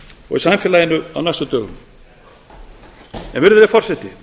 og í samfélaginu á næstu dögum virðulegi forseti